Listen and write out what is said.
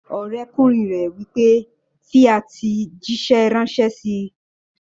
Ọ̀rẹ́kùnrin rẹ̀ wí pé, "fi àtẹ̀jísẹ́ ránṣẹ́ síi!"